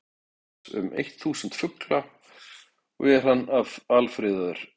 Japanski stofninn telur nú aðeins um eitt þúsund fugla og er hann alfriðaður.